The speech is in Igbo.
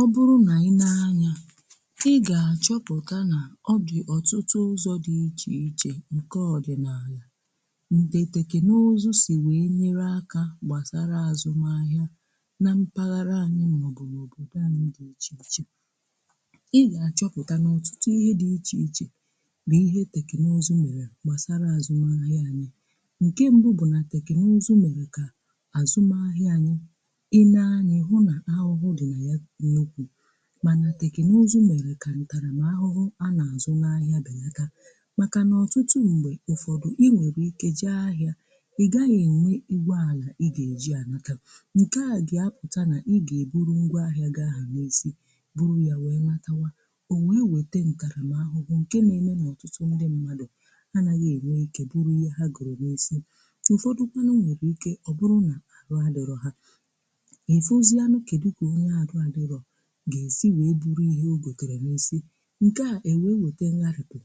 ọ bụrụ nà i nee anya, ị gà-àchọpụ̀ta nà ọ bụ̀ ọtụtụ ụzọ̇ dị ichè ichè ǹke ọdị̀nààlà ǹdè tèkènụzụ sì wee nyere akȧ gbàsara àzụm ahịa na mpaghara anyị. nà òbòdò anyị dị ichè ichè ị gà-achọpụ̀ta nà ọtụtụ ihe dị ichè ichè bụ̀ ihe teknụzụ mèrè gbasara àzụm ahịa anyị, ǹke mbụ bụ̀ nà tèkènụzụ mèrè kà àzụm ahịa anyị, ịne-anya ịhu na ahụ̀hụ̀ dị na ya mana tèknụzụ mere kà ntarà m ahụhụ a nà-azụ̀ n’ahịà bèlàta, màkà nà ọtụtụ ṁgbè ụfọdụ̀ inwèrè ike jee ahịà ị gaghị̀ enwe ịgwaalà ị gà-èji anatà nke à gị̀ a pụtà nà ị gà-eburu ngwà ahịà gị àhụ n'isì buru ya wee natàwà, o wee wete ntàrà m ahụ̀ bụ̀ nke na-eme n’ọtụtụ mmadụ̀ mmadụ̀ anaghị̀ enwe ike bụrụ̀ ihe ha gọrọ̀ n’isì ụfọdụ̀kwànụ̀ nwere ike ọ bụrụ̀ nà ahu adịrọ̀ ha. ọ̀fọ̀zianu kedu ka onye ahu n'adịrọ̀ ga-esi wee buru ihe ogotere n’isi nke a enweeweta ngharịpù